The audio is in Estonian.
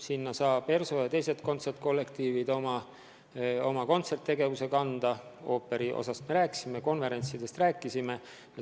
Sinna saavad ERSO ja teised kontsertkollektiivid oma kontserttegevuse üle kanda – ooperietendustest me juba rääkisime, konverentsidest rääkisime.